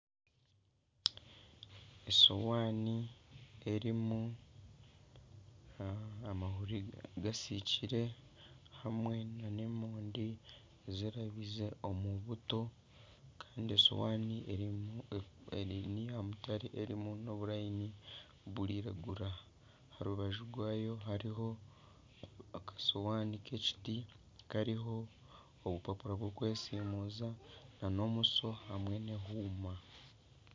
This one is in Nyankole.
Esowaani erimu amahuri gasiikire hamwe n'emondi zirabize omu buto kandi esowaani erimu n'eya mutare erimu n'obunyarara burairagura. Aha rubaju rwayo hariho akasowaani k'ekiti kariho obubapura bw'okwesimuuza n'omusyo hamwe n'ehuuma.